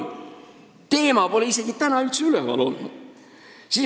See teema pole täna üldse üleval olnud.